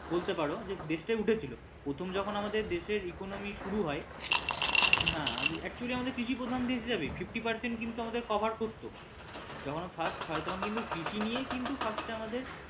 বলতে পারো যে হ্যাঁ দেশ টাই উঠেছিলো প্রথম যখন আমাদের দেশের economy শুরু হয় হ্যাঁ actually আমাদের কৃষিপ্রধান দেশ যাবেই fifty percent কিন্তু আমাদের cover করত যখন ও first হয় তখন কিন্তু কৃষি নিয়েই কিন্তু first এ আমাদের